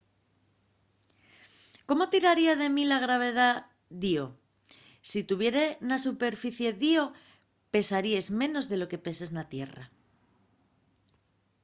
¿cómo tiraría de min la gravedá d'ío? si tuvieres na superficie d’ío pesaríes menos de lo que peses na tierra